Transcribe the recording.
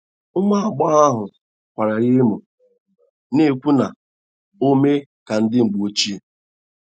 Ụmụ agbọghọ ahụ kwara ya emo, na - ekwu na ọ eme ka ndi mgbọ oche.